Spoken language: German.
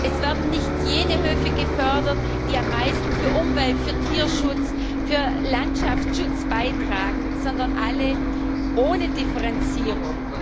Es werden nicht jene Höfe gefördert, die am meisten zu Umwelt, zu Tierschutz, zu Landschaftsschutz beitragen, sondern alle ohne Differenzierung.